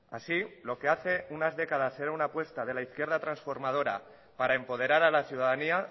así lo que hace unas décadas era una apuesta de la izquierda transformadora para empoderar a la ciudadanía